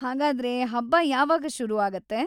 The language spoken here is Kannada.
ಹಾಗಾದ್ರೆ, ಹಬ್ಬ ಯಾವಾಗ ಶುರು ಆಗುತ್ತೆ?